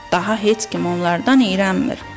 Daha heç kim onlardan iyrənmir.